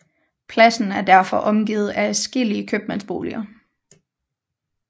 Pladsen er derfor omgivet af adskillige købmandsboliger